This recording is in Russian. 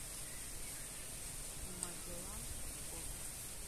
магеллан фото